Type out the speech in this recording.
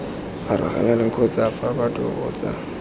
farologaneng kgotsa fa batho kgotsa